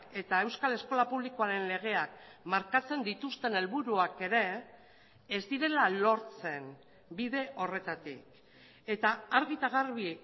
eta euskal eskola publikoaren legeak markatzen dituzten helburuak ere ez direla lortzen bide horretatik eta argi eta garbi